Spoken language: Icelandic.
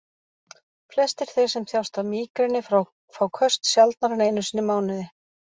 Flestir þeir sem þjást af mígreni fá köst sjaldnar en einu sinni í mánuði.